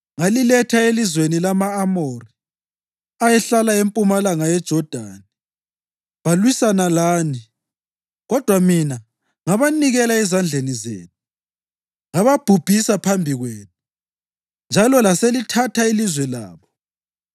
Ngaliletha elizweni lama-Amori ayehlala empumalanga yeJodani. Balwisana lani, kodwa mina ngabanikela ezandleni zenu. Ngababhubhisa phambi kwenu njalo laselithatha ilizwe labo.